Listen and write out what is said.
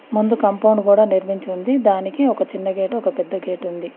ముందు కాంపౌండ్ కూడా నిర్మించింది దానికి ఒక చిన్న గేటు ఒక పెద్ద గేటు ఉంది.